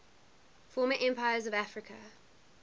former empires of africa